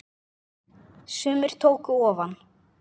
Sumir tóku ofan!